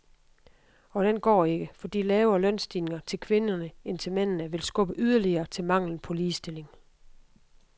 Og den går ikke, fordi lavere lønstigninger til kvinderne end til mændene vil skubbe yderligere til manglen på ligestilling.